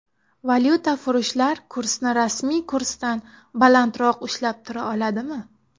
Valyutafurushlar kursni rasmiy kursdan balandroq ushlab tura oladimi?